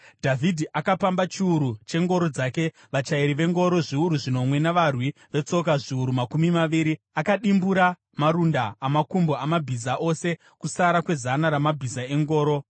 Dhavhidhi akapamba chiuru chengoro dzake, vachairi vengoro zviuru zvinomwe navarwi vetsoka zviuru makumi maviri. Akadimbura marunda amakumbo amabhiza ose kusara kwezana ramabhiza engoro.